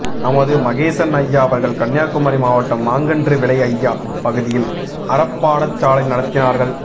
நமது மகேசன் அய்யா அவர்கள் கன்னியாகுமரி மாவட்டம் மாங்கன்று விளை அய்யா பதியில் அறப்பாடசாலை நடத்தினார்கள்